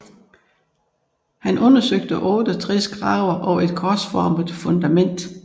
Han undersøgte 68 grave og et korsformede fundament